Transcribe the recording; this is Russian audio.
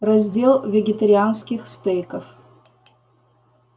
раздел вегетарианских стейков